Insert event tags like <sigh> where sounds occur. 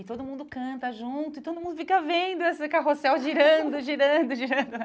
E todo mundo canta junto e todo mundo fica vendo esse carrossel <laughs> girando, girando, girando.